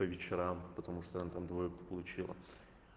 по вечерам потому что она там двойку получила